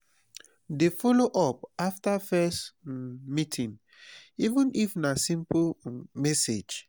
dey follow up after first um meeting even if na simple um message